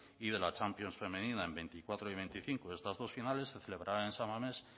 y de la champions femenina en veinticuatro y veinticinco estas dos finales se celebrarán en san mamés